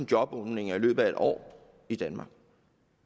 jobåbninger i løbet af et år i danmark